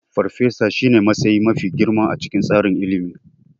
Farfesa shine matsayi mafi girma a cikin tsarin ilimi.